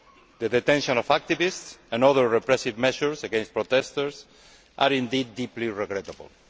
The detention of activists and other repressive measures against protesters are indeed deeply regrettable.